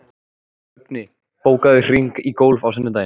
Högni, bókaðu hring í golf á sunnudaginn.